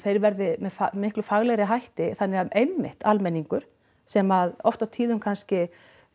þeir verði með miklu faglegri hætti þannig að einmitt almenningur sem oft á tíðum kannski